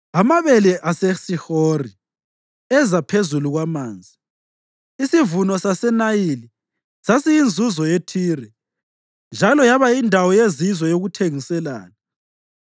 Amabele aseShihori eza ephezu kwamanzi, isivuno saseNayili sasiyinzuzo yeThire, njalo yaba yindawo yezizwe yokuthengiselana.